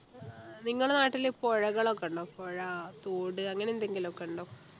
നിങ്ങളെ നാട്ടില് പുഴകളൊക്കെ ഉണ്ടോ പുഴ തോട് അങ്ങനെ എന്തെങ്കിലും ഒക്കെ ഉണ്ടോ